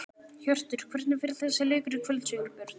Hjörtur: Hvernig fer þessi leikur í kvöld, Sigurbjörn?